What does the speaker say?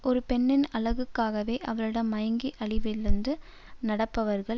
ஒரு பெண்ணின் அழகுக்காகவே அவளிடம் மயங்கி அறிவிழந்து நடப்பவர்கள்